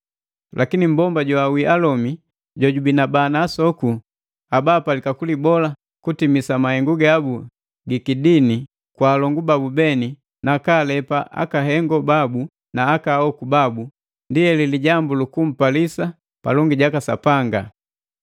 Lakini mmbomba joawii alomi jojubii na bana na asokoo, haba apalika kulibola kutimisa mahengu gabu gikidini kwa alongu babu beni nakalepa akahengo babu na ahoku babu, ndi heli lijambu luku mpalisa palongi jaka Sapanga.